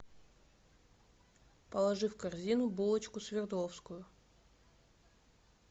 положи в корзину булочку свердловскую